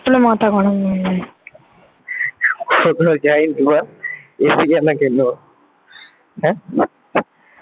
কোথাও যায়নি বল? AC কেন কিনব এ